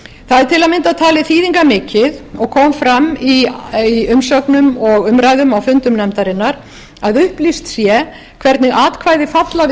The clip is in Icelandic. það er til að mynda talið þýðingarmikið og kom fram í umsögnum og umræðum á fundum nefndarinnar að upplýst sé hvernig atkvæði falla við